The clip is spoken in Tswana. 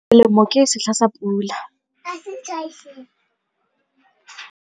Selemo ke setlha sa pula.